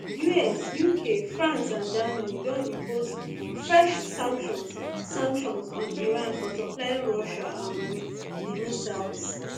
us uk france and germany don impose fresh sanctions sanctions on iran for supplying russia um wit di missiles